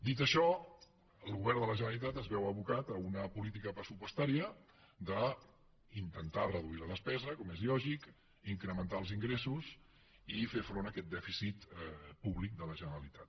dit això el govern de la generalitat es veu abocat a una política pressupostària d’intentar reduir la despesa com és lògic incrementar els ingressos i fer front a aquest dèficit públic de la generalitat